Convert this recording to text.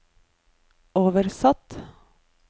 oversatt